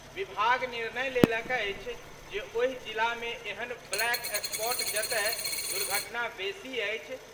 विभाग निर्णय लेलक अछि जे ओहि जिलामे एहन ब्लैक स्पॉट जतय दुर्घटना बेसी अछि।